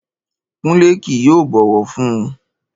Kúnlé kì yóò bọ̀wọ̀ fun un